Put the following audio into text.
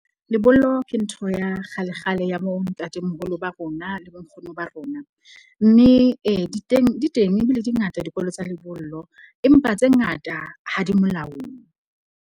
Lebollo ke ntho ya kgalekgale, ya bo ntatemoholo ba rona, le bo nkgono ba rona. Mme ee di teng ebile di ngata dikolo tsa lebollo empa tse ngata ha di molaong.